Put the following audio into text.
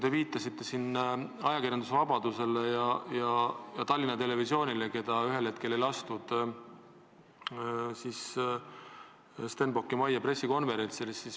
Te viitasite siin ajakirjandusvabadusele ja Tallinna Televisioonile, keda ühel hetkel ei lastud Stenbocki majja pressikonverentsile.